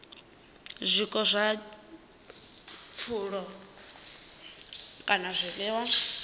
zwiko zwa pfulo kana zwiḽiwa